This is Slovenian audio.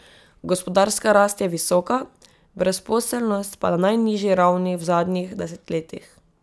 Gospodarska rast je visoka, brezposelnost pa na najnižji ravni v zadnjih desetletjih.